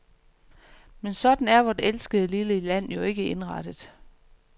Men sådan er vort elskede lille land jo ikke indrettet.